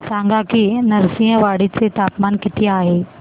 सांगा की नृसिंहवाडी चे तापमान किती आहे